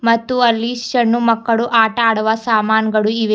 ಮತ್ತು ಅಲ್ಲಿ ಇಶ್ ಅನ್ನು ಮಕ್ಕಳು ಆಟ ಆಡುವ ಸಾಮಾನಗಳು ಇವೆ.